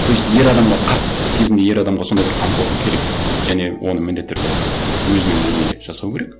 то есть ер адамға қарт кезінде ер адамға сондай бір қамқорлық керек және оны міндетті түрде өзінің әйелі жасау керек